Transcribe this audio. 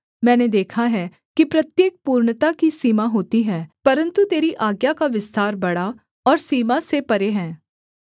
मैंने देखा है कि प्रत्येक पूर्णता की सीमा होती है परन्तु तेरी आज्ञा का विस्तार बड़ा और सीमा से परे है